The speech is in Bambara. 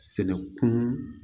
Sɛnɛ kun